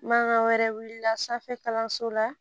Bagan wɛrɛ wulila sanfɛ kalanso la